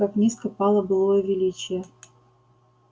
как низко пало былое величие